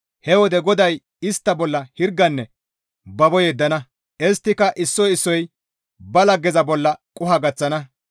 He wode GODAY istta bolla hirganne babo yeddana; isttika issoy issoy ba laggeza bolla qoho gaththana.